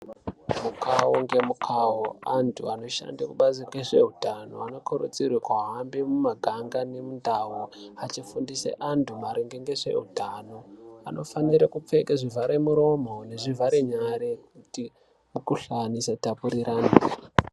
Mukawo ngemukawo, antu anoshanda kubazi rezveutano anokurudzirwa kuhambe mumaganga nemundau, achifundise antu maringe ngezveutano. Anofane kupfeke zvivhara muromo nezvivhare nyara kuti mikhuhlane isatapurirane.